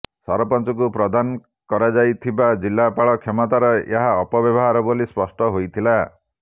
ସରପଞ୍ଚଙ୍କୁ ପ୍ରଦାନ କରାଯାଇଥିବା ଜିଲ୍ଲାପାଳ କ୍ଷମତାର ଏହା ଅପବ୍ୟବହାର ବୋଲି ସ୍ପଷ୍ଟ ହୋଇଥିଲା